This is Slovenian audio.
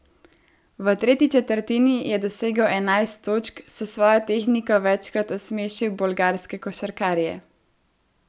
V tretji četrtini je dosegel enajst točk, s svojo tehniko večkrat osmešil bolgarske košarkarje.